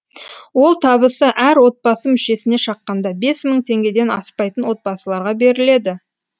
ол табысы әр отбасы мүшесіне шаққанда бес мың теңгеден аспайтын отбасыларға беріледі